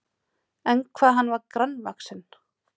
En hvað hann var grannvaxinn!